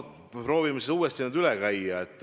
Proovime selle uuesti üle käia.